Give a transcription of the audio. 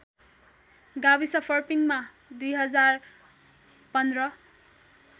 गाविस फर्पिङमा २०१५